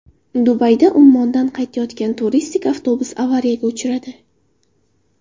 Dubayda Ummondan qaytayotgan turistik avtobus avariyaga uchradi.